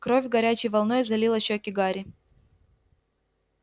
кровь горячей волной залила щёки гарри